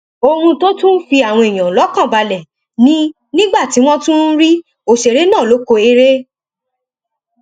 ohun tó tún fi àwọn èèyàn lọkàn balẹ ni nígbà tí wọn tún ń rí òṣèré náà lóko eré